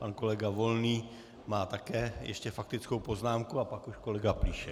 Pan kolega Volný má také ještě faktickou poznámku a pak už kolega Plíšek.